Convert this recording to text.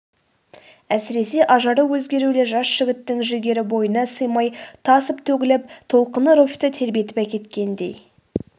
әсіресе ажары өзгерулі жас жігіттің жігері бойына сыймай тасып төгіліп толқыны руфьті тербетіп әкеткендей